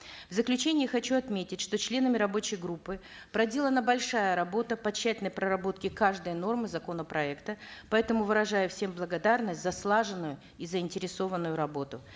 в заключении хочу отметить что членами рабочей группы проделана большая работа по тщательной проработке каждой нормы законопроекта поэтому выражаю всем благодарность за слаженную и заинтересованную работу